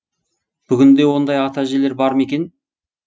бүгінде ондай ата әжелер бар ма екен